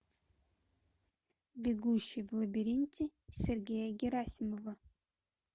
бегущий в лабиринте сергея герасимова